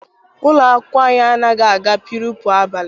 Ụlọ akwụkwọ anyị anaghị aga purepu abalị.